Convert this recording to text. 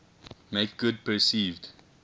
make good perceived